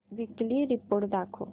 weekly report दाखव